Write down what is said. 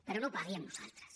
però no ho pagui amb nosaltres